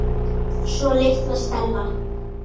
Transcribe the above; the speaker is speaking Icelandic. Svo litla Stella.